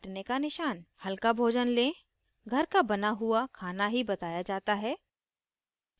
हल्का भोजन लें घर का बना हुआ खाना ही बताया जाता है